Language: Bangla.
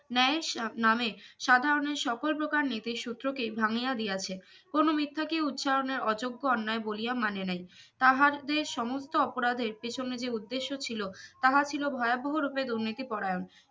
ন্যায় সব নামে সাধারণের সকল প্রকার নীতিসূত্র কে ভাঙ্গিয়া দিয়াছে কোনো মিথ্যা কে উচ্চারণের অযোগ্য অন্যায় বলিয়া মানে নাই তাহাদের সমস্ত অপরাধের পেছনে যে উদ্দেশ্য ছিলো তাহা ছিলো ভয়াবহ রুপে দুর্নীতি পরায়ণ